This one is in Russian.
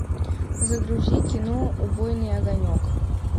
загрузи кино убойный огонек